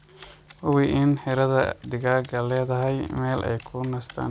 Hubi in xiradhaa digaaga leedhahay meel ay ku nastaan.